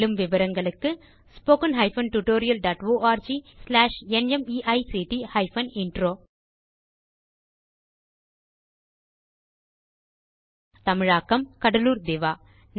மேலும் விவரங்களுக்கு spoken hyphen tutorial dot org slash NMEICT hyphen intro தமிழாக்கம் கடலூர் திவா